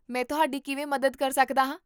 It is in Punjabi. ਮੈਂ ਤੁਹਾਡੀ ਕਿਵੇਂ ਮਦਦ ਕਰ ਸਕਦਾ ਹਾਂ?